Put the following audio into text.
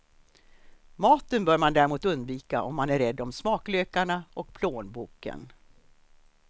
Maten bör man däremot undvika om man är rädd om smaklökarna och plånboken.